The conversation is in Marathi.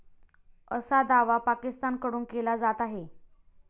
असा दावा पाकिस्तानकडून केला जात आहे.